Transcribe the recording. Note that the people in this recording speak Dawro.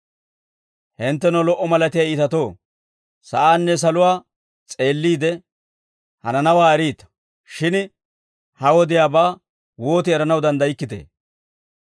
Hinttenoo lo"a malatiyaa iitatoo, sa'aanne saluwaa s'eelliide, hananawaa eriita; shin ha wodiyaabaa wooti eranaw danddaykkitee?